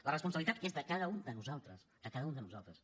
la responsabilitat és de cada un de nosaltres de cada un de nosaltres